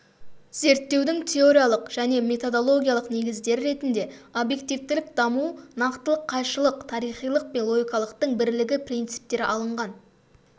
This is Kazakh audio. зерттеудің теориялық және методологиялық негіздері ретінде объективтілік даму нақтылық қайшылық тарихилық пен логикалықтың бірлігі принциптері алынған